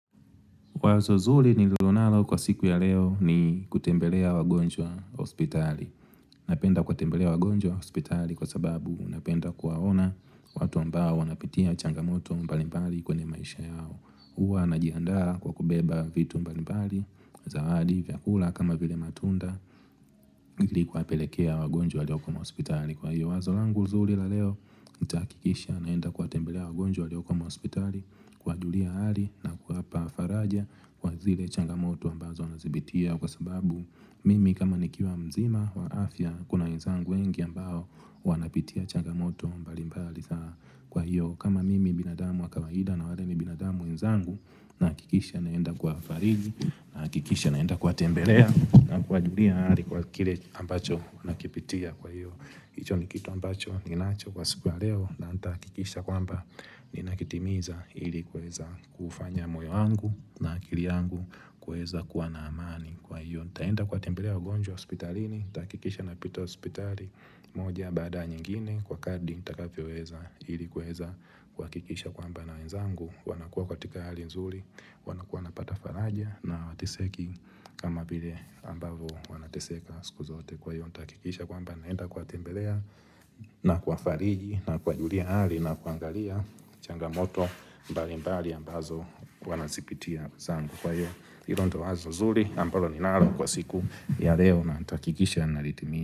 Wazo zuli nililonalo kwa siku ya leo ni kutembelea wagonjwa hospitali. Napenda kutembelea wagonjwa hospitali kwa sababu napenda kuwaona watu ambao wanapitia changamoto mbalimbali kwenye maisha yao. Uwa najiandara kwa kubeba vitu mbali mbali za hali vya kula kama vile matunda ili kwapelekea wagonjwa leo kama hospitali kwa hiyo Wazo langu uzuri la leo itakikisha naenda kwa tembelea wagonjwa leo kama hospitali Kwa dulia hali na kwa hapa faraja kwa zile changamoto ambazo anazibitia Kwa sababu mimi kama nikiwa mzima wa afya kuna nzangu wengi ambao wanapitia changamoto mbali mbali za kwa hiyo kama mimi binadamu wakawahida na wale mi binadamu mzangu na kikisha naenda kwa farigi na kikisha naenda kwa tembelea na kwa julia ali kwa kile ambacho nakipitia kwa hiyo Kicho ni kitu ambacho ni nacho kwa sikuwa leo na kikisha kwamba ni nakitimiza hili kweza kufanya moyo angu na kili angu kweza kuwa na amani kwa hiyo Ntahenda kwa tembelea ugonjwa hospitalini, takikisha na pito hospitali moja baada nyingine kwa kadi itakafiweza hili kweza kwa kikisha kwamba na nzangu wanakua kwa tika hali nzuri wanakuanapata faraja na atiseki kama bile ambavo wanateseka siku zote kwa hiyo. Na utakikisha kwamba naenda kwa tembelea na kwa fariji na kwa julia ali na kwa angalia changamoto mbalimbali ambazo kwa nasipitia zangu kwa hiyo. Hilo ndo wazo zuri ambalo ninalo kwa siku ya leo na utakikisha na litimia.